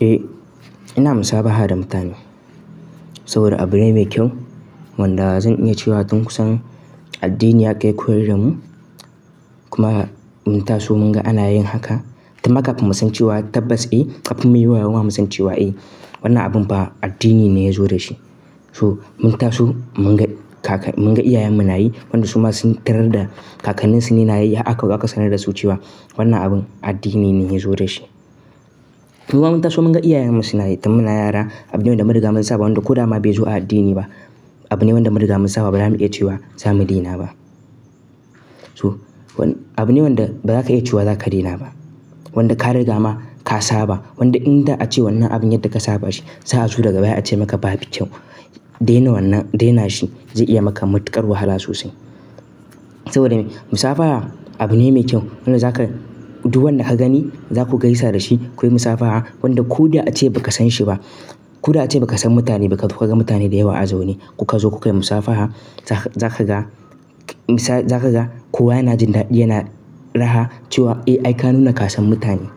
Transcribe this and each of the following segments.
Eh ina musafaha da mutane saboda abu ne mai kyau wanda zan iya cewa tun kusan addini haka ya koyar da mu kuma mun taso mun ga ana yin haka. Tun makafi mun san cewa tabbas eh kafin muyi wayauma mun san cewa eh wannan abun fa addini ne ya zo da shi. So mun taso mun ga iyayenmu na yi wanda su ma sun tarar da kakanninsu ne na yi har akazo aka sanar da su cewa wannan abin addini ne ya zo da shi. Mu ma mun taso mun ga iyayenmu suna yi tun muna yara abune wanda muka masa wanda ko da ma bai zo a addini ba abune wanda munriga mun saba ba za mu iya cewa za mu dena ba. So abune wanda ba za ka iya cewa za ka dena ba wanda ka riga ma ka saba wanda inda ace wannan abin yadda ka saba shi za'a zo daga baya ace maka ba fbu kyau dena wannan dena shi zai iya maka matuƙar wahala sosai. Saboda me? Musafaha abu ne mai kyau wanda zaka duk wanda ka gani zaku gaisa da shi kuyi musafaha wanda ko da ace ba ka san shi ba. Ko da ace ba ka san mutane ba ka ga mutane da yawa a zaune kuka zo kuka yi musafaha za ka ga za ka ga kowa yana jin daɗi yana raha cewa eh ai kanu na ka san mutane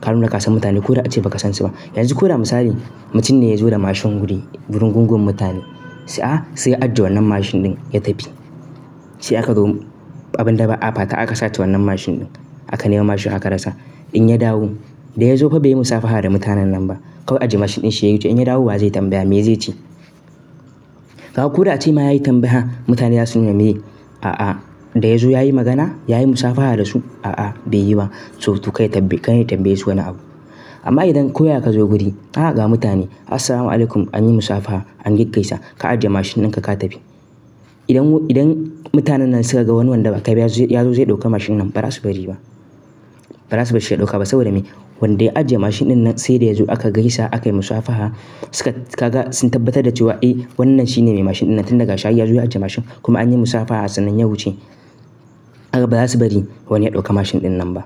kanu na ka san mutane ko da ace ba ka san shi ba. Yanzu ko da misali mutum ne ya zo da mashin wuri wurin gungun mutane a'a sai ya ajiye wannan mashin ɗin ya tafi. Sai aka ga abin da ba apa ta aka sace wannan mashin ɗin aka nema mashin haka rasa. In ya dawo da ya zo ba zai yi musafaha da mutanen nan ba. Kawai ajiye mashin ɗin shi ya yi yawuce. In ya dawo wa zai tambaya me zai ce? Kau ko da ace ma ya yi tambaya mutane zasu nuna meye a'a da ya zo ya yi magana? Ya yi musafaha da su? A'a bai yi ba. So to karya tambaye su wani abu. Amma idan kowa ya ka zo guri aa haka mutane Assalamualaikum anyi musafaha an yi gaisa ka ajiye mashin dinka ka tafi. Idan idan mutanen nan suka ga wani wanda ba ka biya ya zo zai ɗauka mashin nan ba za su bari ba ba za su bar shi ya ɗauka ba saboda me? Wanda ya ajiye mashin ɗin nan sai da ya zo aka gaisa aka yi musafaha suka ka ga sun tabbatar da cewa eh wannan shine mai mashin ɗin nan tun daga shayi ya zo ya ajiye mashin kuma anyi musafaha sannan ya wuce. Kaga ba za su bari wani ya ɗauka mashin ɗin nan ba.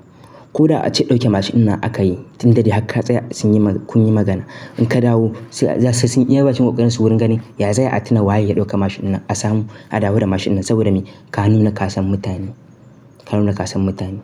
Ko da ace ɗauke mashin aka yi tun da dai haka tsaya sun yi kun yi magana. In ka dawo sun iya bacin ƙoƙarinsu wurin gani ya za ayi a tuna waye ya ɗauka mashin nan a samu a dawo da mashin saboda me? Kanu na ka san mutane kanu na ka san mutane.